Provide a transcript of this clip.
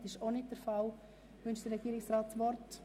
Wünscht der Regierungsrat das Wort?